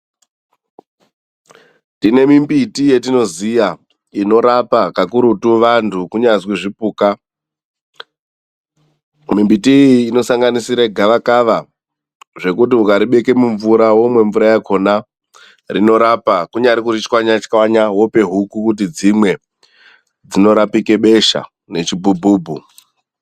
Tine mimbiti yetinoziya inorapa kakurutu vantu, kunyazwi zvipuka. Mimbiti iyi inosanganisira gavakava, zvekuti ukaribeka mumvura womwe mvura yakhona rinorapa. Kunyari kurichwanya-chwanya wope huku kuti dzimwe dzinorapike besha nechibhubhubhu.